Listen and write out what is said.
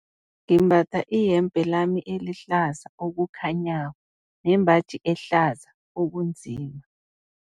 Ngimbatha iyembe lami elihlaza okukhanyako nembaji ehlaza okunzima.